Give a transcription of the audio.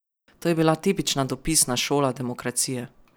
To je bila tipična dopisna šola demokracije.